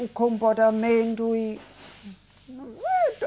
O comportamento e